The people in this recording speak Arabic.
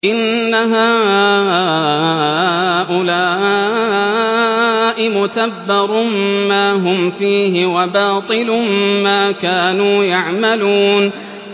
إِنَّ هَٰؤُلَاءِ مُتَبَّرٌ مَّا هُمْ فِيهِ وَبَاطِلٌ مَّا كَانُوا يَعْمَلُونَ